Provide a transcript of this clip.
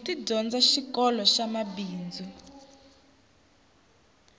ti dyondza xikoloxa mabindzu